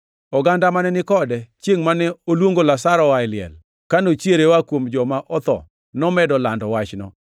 Oganda mane ni kode chiengʼ mane oluongo Lazaro oa e liel, ka nochiere oa kuom joma otho, nomedo lando wachno.